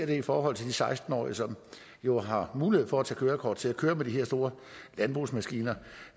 i forhold til de seksten årige som jo har mulighed for at tage kørekort til at køre med de her store landbrugsmaskiner